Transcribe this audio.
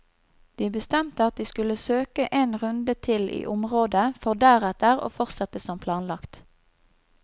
De bestemte at de skulle søke en runde til i området for deretter å fortsette som planlagt.